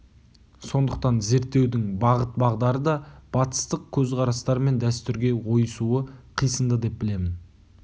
сондықтан зерттеудің бағыт-бағдары да батыстық көзқарастар мен дәстүрге ойысуы қисынды деп білемін